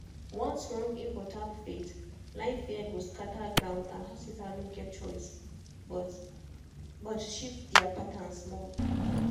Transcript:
once wrong info tap faith line fear go scatter ground and hospital no get choice but but to shift their pattern small.